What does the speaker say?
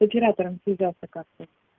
с оператором связаться карты